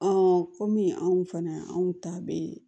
kɔmi anw fɛnɛ anw ta be